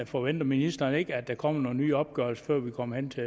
forventer ministeren ikke at der kommer nogle nye opgørelser før vi kommer hen til